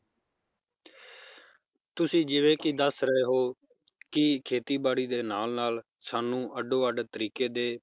ਤੁਸੀਂ ਜਿਵੇ ਕਿ ਦੱਸ ਰਹੇ ਹੋ ਕਿ ਖੇਤੀ ਬਾੜੀ ਦੇ ਨਾਲ ਨਾਲ ਸਾਨੂੰ ਅੱਡੋ ਵੱਡ ਤਰੀਕੇ ਦੇ